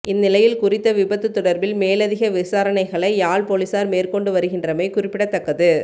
இந்நிலையில் குறித்த விபத்து தொடர்பில் மேலதிக விசாரணைகளை யாழ் பொலிஸார் மேற்கொண்டு வருகின்றமை குறிப்பிடத்தக்கது